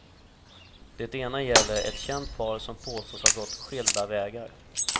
Det ena gäller ett känt par som påstås ha gått skilda vägar.